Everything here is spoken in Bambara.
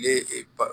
Ye e ba